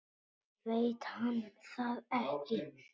Veit hann það ekki?